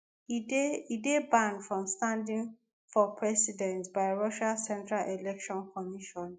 e dey e dey barred from standing for president by russia central election commission.